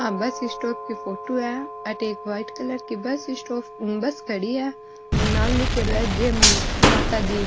आ bus stop की photo है अठे एक व्हाइट कलर की बस स्टॉप बस खड़ी है और नाम लीखेड़ो है जय माता दी।